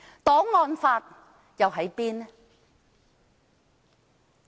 檔案法又在哪裏？